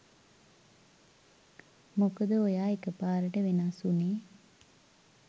මොකද ඔයා එකපාරට වෙනස් උනෙ